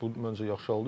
Bu məncə yaxşı haldır.